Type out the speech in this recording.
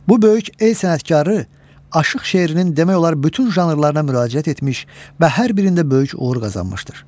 Bu böyük el sənətkarı aşıq şeirinin demək olar bütün janrlarına müraciət etmiş və hər birində böyük uğur qazanmışdır.